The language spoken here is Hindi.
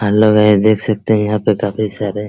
और लोग है देख सकते हैं यहां पे काफी सारे।